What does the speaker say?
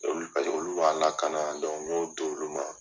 Olu paseke olu b'an lakana n y'o do olu ma.